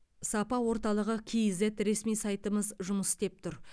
сапа орталығы кейзет ресми сайтымыз жұмыс істеп тұр